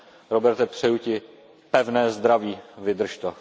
Roberte, přeju Ti pevné zdraví. Vydrž to!